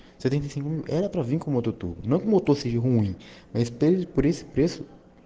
свидетелем и культурному тоже юм эстейт пресс